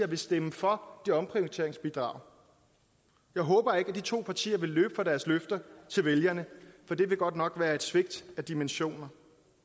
vil stemme for det omprioriteringsbidrag jeg håber ikke at de to partier vil løbe fra deres løfter til vælgerne for det vil godt nok være et svigt af dimensioner